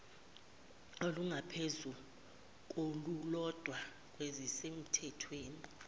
olungaphezu kolulodwa kwezisemthethweni